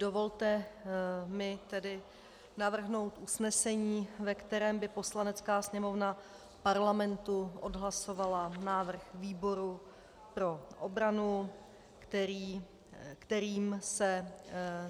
Dovolte mi tedy navrhnout usnesení, ve kterém by Poslanecká sněmovna Parlamentu odhlasovala návrh výboru pro obranu, kterým se